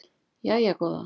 Jæja góða